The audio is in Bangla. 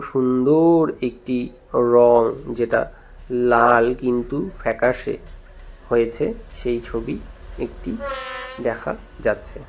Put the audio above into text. সুন্দর একটি রঙ যেটা লাল কিন্তু ফ্যাকাসে হয়েছে সেই ছবি একটি দেখা যাচ্ছে।